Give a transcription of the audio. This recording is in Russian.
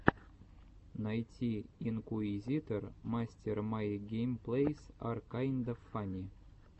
найти инкуизитор мастер май геймплэйс ар кайнда фанни